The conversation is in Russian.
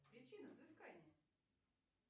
причина взыскания